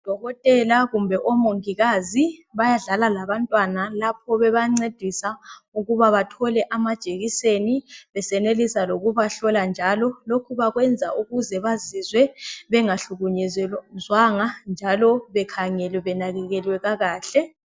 ODokotela kumbe oMongikazi bayadlala labantwana lapho bebancedisa ukuba bathole amajekiseni besenelisa lokubahlola njalo. Lokhu bakwenzela ukuze bazizwe bengahlukunyezwanga njalo bekhangelwe benakekelwe kakahle.